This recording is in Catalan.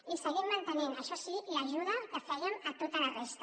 i seguim mantenint això sí l’ajuda que fèiem a tota la resta